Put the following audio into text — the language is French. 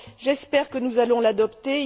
J'espère que nous allons l'adopter